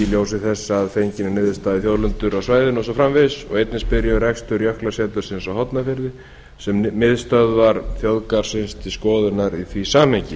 ljósi þess að fenginni niðurstöðu um þjóðlendur á svæðinu og svo framvegis og einnig spyr ég um rekstur jöklasetursins á hornafirði sem miðstöðvar þjóðgarðsins til skoðunar í því samhengi